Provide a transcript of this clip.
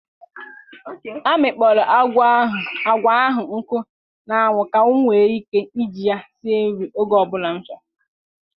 A mịkpọrọ agwa ahụ nkụ na anwụ ka m nwee ike iji ya sie nri oge ọ bụla m chọrọ.